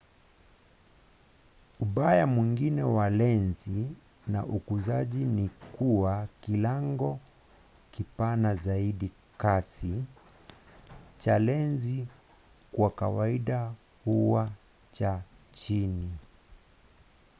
ubaya mwingine wa lenzi za ukuzaji ni kuwa kilango kipana zaidi kasi cha lenzi kwa kawaida huwa cha chini